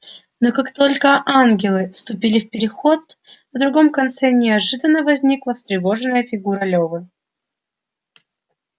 но как только ангелы вступили в переход на другом конце неожиданно возникла встревоженная фигура лёвы